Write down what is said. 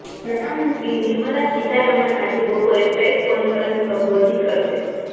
નાણા મંત્રી નિર્મલા સીતારમણ આજે બપોરે પ્રેસ કોન્ફરન્સને સંબોધિત કરશે